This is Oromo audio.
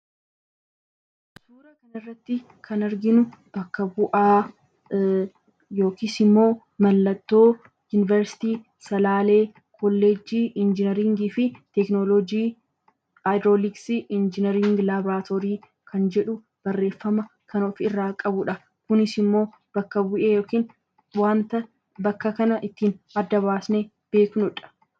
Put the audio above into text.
Suuraa kanarratti kan arginu bakka bu'aa immoo yuunivarsiitii Salaalee kolleejjii injinariingii fi teeknooloojii , Haayidroliksii injinaringii laabiraatoorii kan jedhu barreeffama kan ofirraa qabudha. Kunis immoo bakka bu'ee yookaan waanta bakka kana ittiin adda baafnee beeknudha.